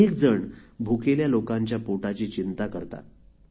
अनेक जण भुकेल्या लोकांच्या पोटाची चिंता करतात